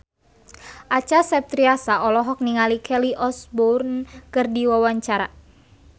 Acha Septriasa olohok ningali Kelly Osbourne keur diwawancara